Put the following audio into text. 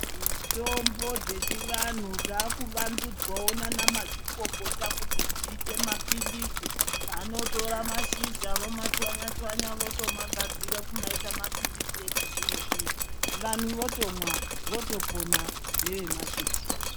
Mitombo dzechivanhu dzakuvandudzwawo nanamazvikokota kuti dziite maphilizi. Vanotora mashizha vomachwanya chwanya, votomagadzira kumaita maphilizi echizvino zvino. Vanhu votomwa votopona nevemachechi.